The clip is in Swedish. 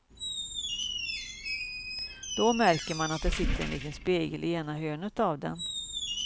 Då märker man att det sitter en liten spegel i ena hörnet av den.